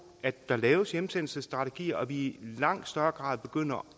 at der laves hjemsendelsesstrategier og at vi i langt større grad begynder